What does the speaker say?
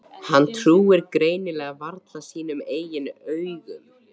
Hann trúir greinilega varla sínum eigin augum.